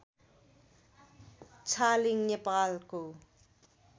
छालिङ नेपालको